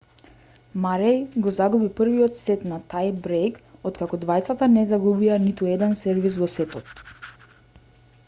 мареј го загуби првиот сет на тај брејк откако двајцата не загубија ниту еден сервис во сетот